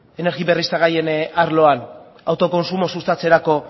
energi berriztagarrien arloan autokontsumo sustatzerako